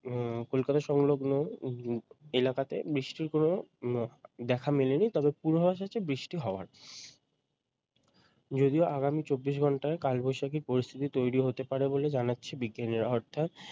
উম কলকাতা সংলগ্ন উম এলাকাতে বৃষ্টির কোনও দেখা মেলেনি তবে পূর্বাভাস হচ্ছে বৃষ্টি হওয়ার যদিও আগামী চব্বিশ ঘণ্টায় কালবৈশাখীর পরিস্থিতি তৈরি হতে পারে বলে জানাচ্ছেন বিজ্ঞানীরা। অর্থাৎ